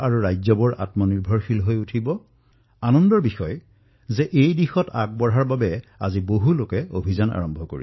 যদি আমাৰ গাঁও আত্মনিৰ্ভৰ হলহেঁতেন আমাৰ চুবুৰী আমাৰ জিলা আমাৰ ৰাজ্য আত্মনিৰ্ভৰ হলহেঁতেন তেন্তে সমস্যাই এই ৰূপ নললেহেঁতেন